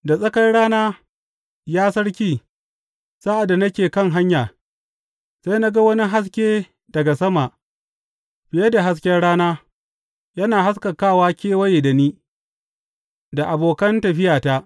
Da tsakar rana, ya sarki, sa’ad da nake kan hanya, sai na ga wani haske daga sama, fiye da hasken rana, yana haskakawa kewaye da ni da abokan tafiyata.